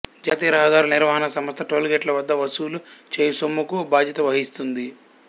జాతీయ రహదారుల నిర్వాహణ సంస్థ టోల్ గేట్ల వద్ద వసులు చేయు సొమ్ముకు బాధ్యత వహిస్తుంది